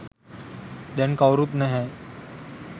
දැන් කවුරුත් නැහැ.